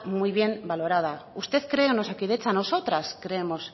muy bien valorada usted cree en osakidetza nosotras creemos